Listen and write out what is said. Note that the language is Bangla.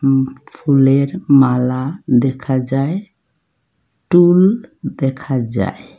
ফুলের মালা দেখা যায় টুল দেখা যায়।